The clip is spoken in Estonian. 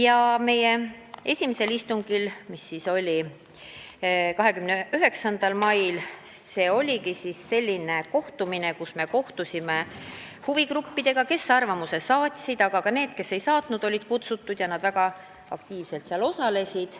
Esimesel nendest istungitest, mis oli 29. mail, me kohtusime huvigruppidega, kes olid oma arvamuse saatnud, aga ka need, kes ei saatnud, olid kutsutud ja nad väga aktiivselt osalesid.